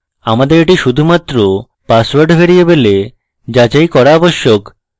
আমাদের এটি শুধুমাত্র পাসওয়ার্ড ভ্যারিয়েবলে যাচাই করা আবশ্যক